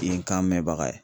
I ye kan mɛ baga ye.